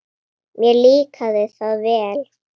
Mér líkaði það vel.